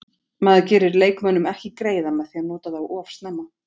Maður gerir leikmönnum ekki greiða með því að nota þá of snemma.